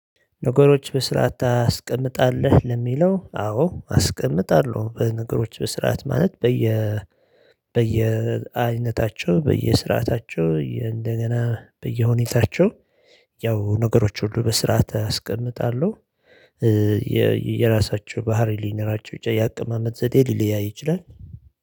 ነገሮች በስርዓትት አስቀምጣለህ? ለሚለው አዎ አስቀምጣለሁ በነገሮች በስርዓት ማለት በየ በየ አይነታቸው በየ ስርዓታቸው እንደገና በየሁኔታቸው ያው ነገሮች ሁሉ በስርዓት አስቀምጣለሁ። የራሳቸው ባህሪ ሊኖራቸው ይችላል የአቀማመጥ ዘዴ ሊለያይ ይችላል።